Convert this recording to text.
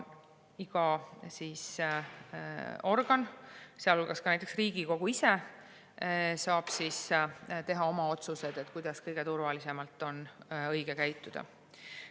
Iga organ, sealhulgas näiteks Riigikogu, saab ise teha oma otsused, kuidas on õige kõige turvalisemalt käituda.